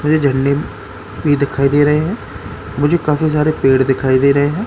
मुझे झंडे भी दिखाई दे रहे हैं। मुझे काफी सारे पेड़ दिखाई दे रहे हैं।